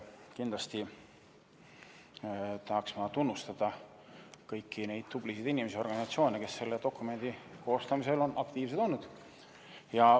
Kindlasti tahaks ma tunnustada kõiki neid tublisid inimesi ja organisatsioone, kes selle dokumendi koostamisel on aktiivsed olnud.